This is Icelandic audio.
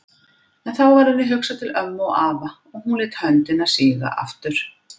En þá varð henni hugsað til ömmu og pabba og hún lét höndina síga aftur.